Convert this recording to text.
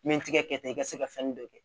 N bɛ n tigɛ tan i ka se ka fɛnnin dɔ kɛ